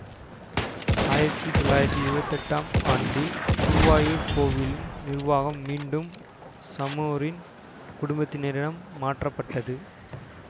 ஆயிரத்தி தொள்ளாயிரத்தி இருபத்தி எட்டாம் ஆண்டில் குருவாயூர் கோவிலின் நிருவாகம் மீண்டும் சமோரின் குடும்பத்தினரிடம் மாற்றப்பட்டது